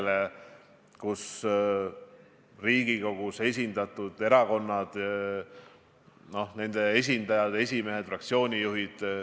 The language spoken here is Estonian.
Me teame, et praegu on Euroopas leidnud tõendamist 22 000 viirusejuhtumit.